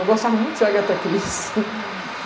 Eu gostava muito de Agatha Christie.